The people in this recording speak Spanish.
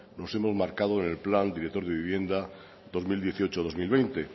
los hemos marcado en el plan director de vivienda dos mil dieciocho dos mil veinte